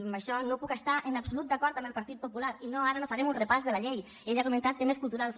amb això no puc estar en absolut d’acord amb el partit popular i ara no farem un repàs de la llei ella ha comentat temes culturals